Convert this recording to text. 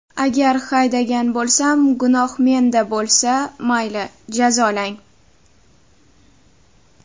Agar haydagan bo‘lsam, gunoh menda bo‘lsa, mayli jazolang.